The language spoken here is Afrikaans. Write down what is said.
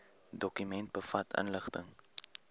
dokument bevat inligting